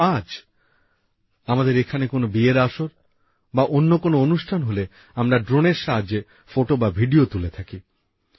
কিন্তু আজ আমাদের এখানে কোন বিয়ের আসর বা অন্য কোন অনুষ্ঠান হলে আমরা ড্রোনের সাহায্যে ফটো ও ভিডিও তুলে থাকি